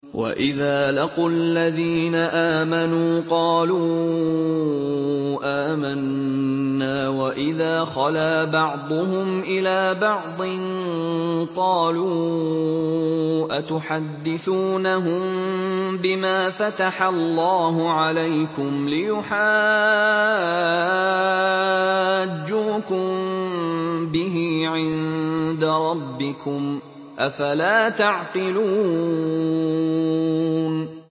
وَإِذَا لَقُوا الَّذِينَ آمَنُوا قَالُوا آمَنَّا وَإِذَا خَلَا بَعْضُهُمْ إِلَىٰ بَعْضٍ قَالُوا أَتُحَدِّثُونَهُم بِمَا فَتَحَ اللَّهُ عَلَيْكُمْ لِيُحَاجُّوكُم بِهِ عِندَ رَبِّكُمْ ۚ أَفَلَا تَعْقِلُونَ